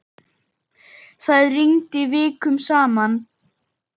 Það rigndi vikum saman.